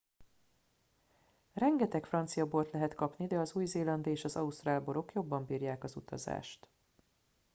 rengeteg francia bort lehet kapni de az új zélandi és ausztrál borok jobban bírják az utazást